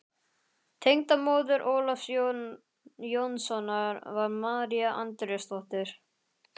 Tengdamóðir Ólafs Jónssonar var María Andrésdóttir.